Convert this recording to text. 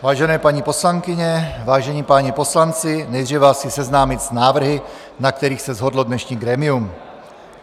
Vážené paní poslankyně, vážení páni poslanci, nejdříve vás chci seznámit s návrhy, na kterých se shodlo dnešní grémium.